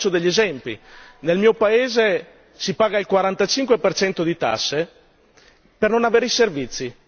Vi faccio alcuni esempi nel mio paese, si paga il 45 di tasse per non avere i servizi